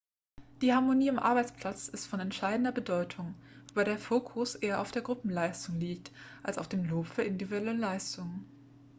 die harmonie am arbeitsplatz ist von entscheidender bedeutung wobei der fokus eher auf der gruppenleistung liegt als auf dem lob für individuelle leistungen